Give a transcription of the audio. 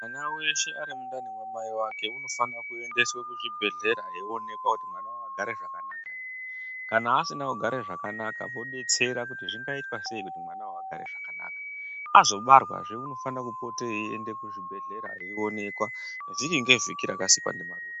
Mwana weshe ari mundani mwamai vake unofana kuendeswe kuzvibhedhleya eionekwa kuti mwana wakagare zvakanaka ere, kana asina kugare zvakanaka vodetsera kuti zvingaitwa sei kuti mwana agare zvakanaka. Azobarwa zve unofanirwa kupote eyi enda kuchibhelera eyi oneka vhiki nge vhiki rakasikwa ndiMwari.